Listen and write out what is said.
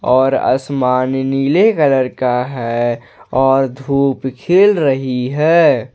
और आसमान नीले कलर का है और धूप खिल रही है।